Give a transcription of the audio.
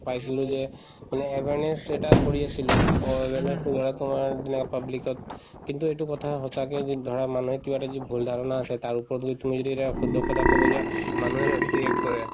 পাইছিলো যে মানে awareness এটা কৰি আছিলো মই মানে ধৰক তোমাৰ যেনেকা public ত কিন্তু এইটো কথা সঁচাকে যে ধৰা মানুহে কিবা এটা যদি ভূল ধাৰণা আছে তাৰ ওপৰত যদি তুমি যদি এটা শুদ্ধকে তাক কব যোৱা মানুহে react কৰে